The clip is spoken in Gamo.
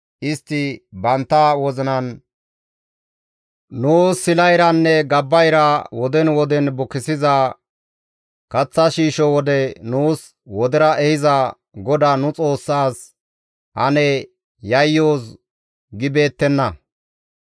Istti bantta wozinan, ‹Nuus sila iranne gabba ira woden woden bukissiza, kaththa shiishsho wode nuus wodera ehiza GODAA nu Xoossaas ane yayyoos› gibeettenna.